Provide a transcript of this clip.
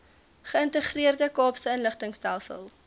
geïntegreerde kaapse inligtingstelsel